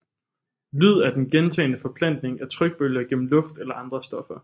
Lyd er den gentagne forplantning af trykbølger gennem luft eller andre stoffer